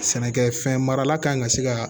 Sɛnɛkɛfɛn marala kan ka se ka